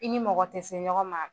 I ni mɔgɔ tɛ se ɲɔgɔn ma